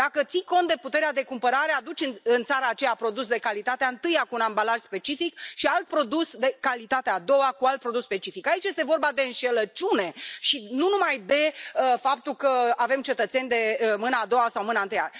Dacă ții cont de puterea de cumpărare, aduci în țara aceea un produs de calitatea întâi, cu un ambalaj specific, și alt produs de calitatea a doua, cu alt ambalaj specific. Aici este vorba de înșelăciune și nu numai de faptul că avem cetățeni de mâna a doua sau mâna întâi.